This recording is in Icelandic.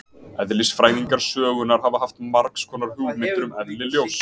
Eðlisfræðingar sögunnar hafa haft margs konar hugmyndir um eðli ljóss.